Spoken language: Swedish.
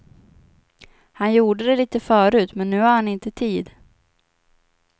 Han gjorde det lite förut, men nu har han inte tid.